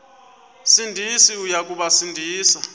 sindisi uya kubasindisa